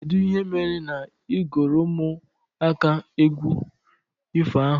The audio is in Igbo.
Kedụ ihe mere na i guro ụmụaka égwu ifo ahụ?